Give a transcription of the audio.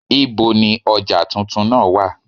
Ibo ni ọjà tuntun náà wà?